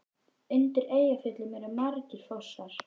Undir Eyjafjöllum eru margir fossar.